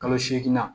Kalo seegin na